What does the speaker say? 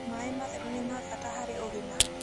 Mae matherũ nĩ ma bata harĩ ũgima